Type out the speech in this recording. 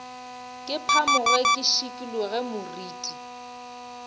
ke phamoge ke šikologe moriti